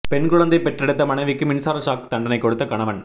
பெண் குழந்தை பெற்றெடுத்த மனைவிக்கு மின்சார ஷாக் தண்டனை கொடுத்த கணவன்